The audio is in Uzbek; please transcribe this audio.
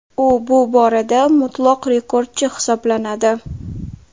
U bu borada mutlaq rekordchi hisoblanadi.